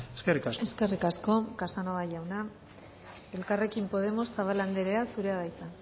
eskerrik asko eskerrik asko casanova jauna elkarrekin podemos zabala anderea zurea da hitza